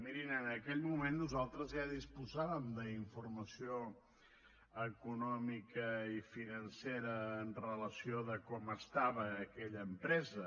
mirin en aquell moment nosaltres ja disposàvem d’informació econòmica i financera amb relació a com estava aquella empresa